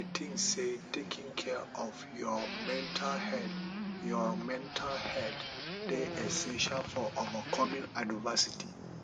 i dey think say taking care of your mental health your mental health dey essential for overcoming adversity